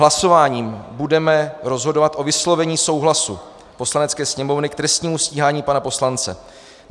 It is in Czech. Hlasováním budeme rozhodovat o vyslovení souhlasu Poslanecké sněmovny k trestnímu stíhání pana poslance.